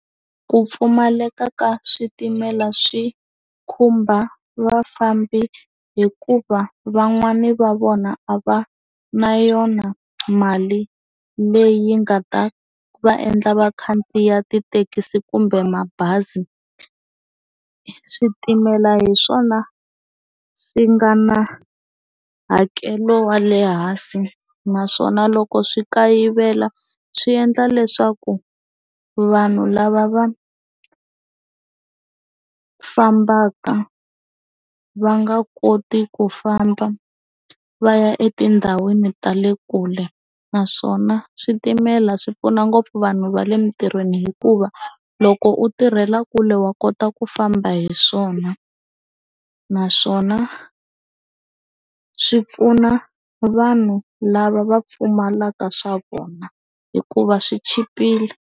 Ku pfumaleka ka switimela swi khumba vafambi hikuva van'wani va vona a va na yona mali leyi nga ta va endla va khandziya tithekisi kumbe mabazi i switimela hi swona swi nga na hakelo wa le hansi naswona loko swi kayivela swi endla leswaku vanhu lava va fambaka va nga koti ku famba va ya etindhawini ta le kule naswona switimela swi pfuna ngopfu vanhu va le mintirhweni hikuva loko u tirhela kule wa kota ku famba hi swona naswona swi pfuna vanhu lava va pfumalaka swa vona hikuva swi chipile.